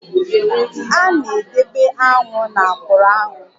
A na-edebe aṅụ na akwuru aṅu